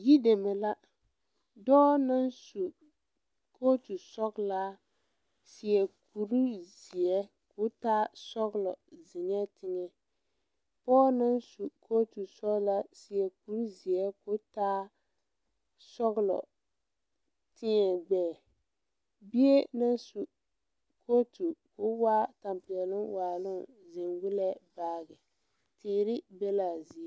Yideme la dɔɔ naŋ su kootu sɔglaa seɛ kurizeɛ koo taa sɔglɔ zeŋɛɛ teŋɛ pɔɔ naŋ su kootu sɔglaa seɛ kurizeɛ koo taa sɔglɔ teɛɛ gbɛɛ bie naŋ su kootu ko waa tampɛloŋ waaloŋ zeŋ gu la baagi teere be laa zie.